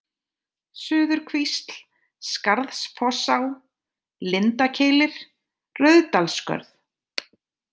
Suðurkvísl, Skarðsfossá, Lindakeilir, Rauðsdalsskörð